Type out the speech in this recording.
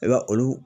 I b'a olu